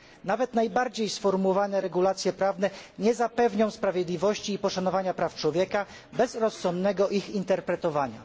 Nawet najlepiej sformułowane regulacje prawne nie zapewnią sprawiedliwości i poszanowania praw człowieka bez rozsądnego ich interpretowania.